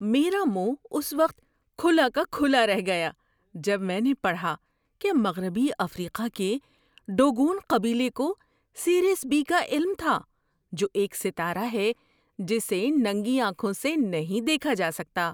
میرا منہ اس وقت کھلا کا کھلا رہ گیا جب میں نے پڑھا کہ مغربی افریقہ کے ڈوگون قبیلے کو سیریس بی کا علم تھا، جو ایک ستارہ ہے جسے ننگی آنکھوں سے نہیں دیکھا جا سکتا۔